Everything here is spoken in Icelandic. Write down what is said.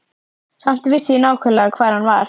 Samt vissi ég nákvæmlega hvar hann var.